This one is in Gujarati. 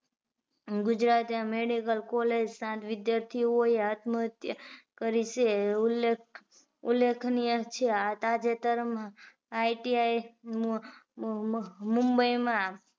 ગુજરાત medical college સાત વિદ્યાર્થીઓ એ આત્મ હત્યા કરી છે ઉલેખ ઉલેખનીય છે તાજેતર માં ITImumbai માં